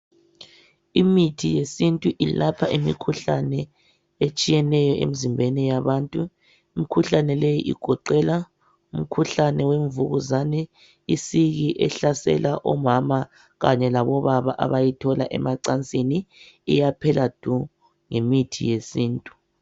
Imithi yesintu ilapha imikhuhlane etshiyeneyo emzimbeni yabantu. Imikhuhlane leyi igoqela umkhuhlane wemvukuzane. Isiki ehlasela omama kanye labobaba, abayithola emacabsini. Iyaphela du, ngemithi yesintu.